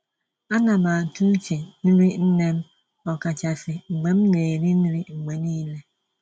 Á ná m àtụ́ úche nrí nnè m, ọ̀kàchàsị́ mgbe m ná-èrí nrí mgbe nííle.